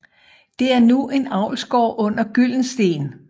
Det er nu en avlsgård under Gyldensteen